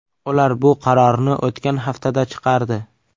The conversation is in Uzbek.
Ular bu qarorni o‘tgan haftada chiqardi.